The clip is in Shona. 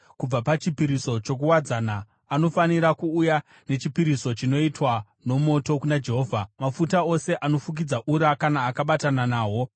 Kubva pachipiriso chokuwadzana anofanira kuuya nechipiriso chinoitwa nomoto kuna Jehovha, mafuta ose anofukidza ura, kana akabatana nahwo,